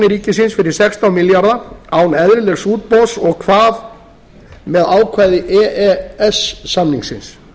ríkisins fyrir sextán milljarða án eðlilegs útboðs og hvað með ákvæði e e s samningsins